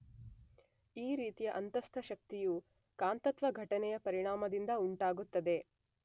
ಈ ರೀತಿಯ ಅಂತಸ್ಥಶಕ್ತಿಯು ಕಾಂತತ್ವ ಘಟನೆಯ ಪರಿಣಾಮದಿಂದ ಉಂಟಾಗುತ್ತದೆ